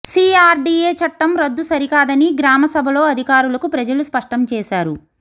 CRDA చట్టం రద్దు సరికాదని గ్రామసభలో అధికారులకు ప్రజలు స్పష్టం చేశారు